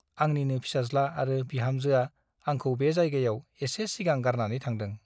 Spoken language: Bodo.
आंनिनो फिसाज्ला आरो बिहामजोआ आंखौ बे जायगायाव एसे सिगां गारनानै थांदों ।